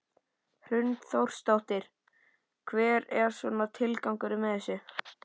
Hrund Þórsdóttir: Hver er svona tilgangur með þessu?